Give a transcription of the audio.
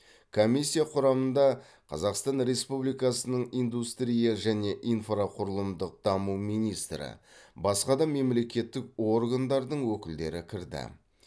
комиссия құрамында қазақстан республикасының индустрия және инфрақұрылымдық даму министрі басқа да мемлекеттік органдардың өкілдері кірді